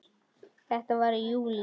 Þetta var í júlí.